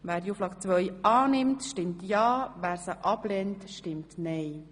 Wer diese annehmen will, stimmt ja, wer sie ablehnt, stimmt nein.